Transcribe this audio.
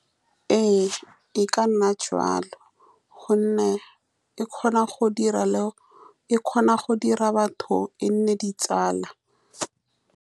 Ee, e ka nna jaaka gonne e kgona go dira, e kgona go dira batho e nne ditsala.